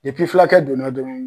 filakɛ donna dɔrɔn